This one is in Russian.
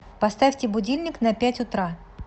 поставьте будильник на пять утра